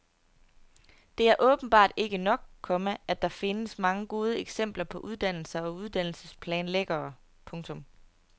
Det er åbenbart ikke nok, komma at der findes mange gode eksempler på uddannelser og uddannelsesplanlæggere. punktum